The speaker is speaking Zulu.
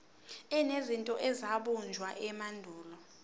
enezinto ezabunjwa emandulo